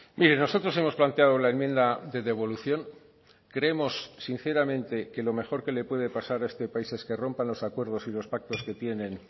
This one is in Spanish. mire nosotros hemos planteado la enmienda de devolución creemos sinceramente que lo mejor que le puede pasar a este país es que rompan los acuerdos y los pactos que tienen